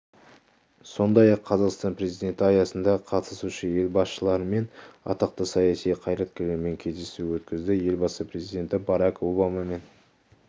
сондай-ақ қазақстан президенті аясында қатысушы-ел басшылары мен атақты саяси қайраткерлермен кездесу өткізді елбасы президенті барак обамамен